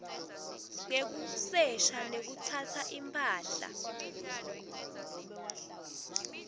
ngekusesha nekutsatsa imphahla